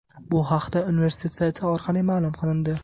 Bu haqda universitet sayti orqali ma’lum qilindi .